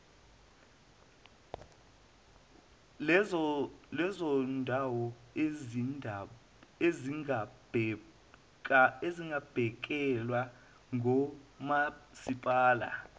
lezondawo ezingabhekelwe ngomasipala